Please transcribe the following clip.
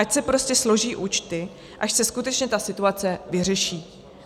Ať se prostě složí účty, až se skutečně ta situace vyřeší.